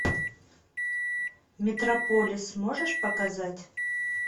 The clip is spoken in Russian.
метрополис можешь показать